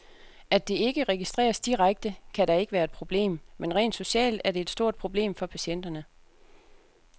At det ikke registreres direkte, kan da ikke være et problem, men rent socialt er det et stort problem for patienterne.